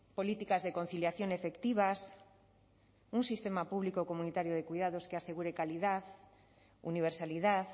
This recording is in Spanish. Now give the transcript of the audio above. políticas de conciliación efectivas un sistema público o comunitario de cuidados que asegure calidad universalidad